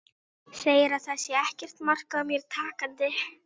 Segir að það sé ekkert mark á mér takandi.